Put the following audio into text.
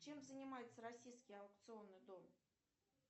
чем занимается российский аукционный дом